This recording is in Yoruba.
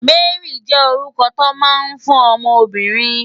Mary jè órúkò tó má n fún òmò óbìrín